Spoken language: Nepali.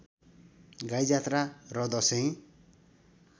गाईजात्रा र दशैँ